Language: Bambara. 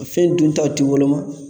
Fɛn duntaw tɛ woloma